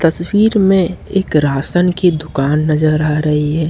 तस्वीर में एक राशन की दुकान नजर आ रही है।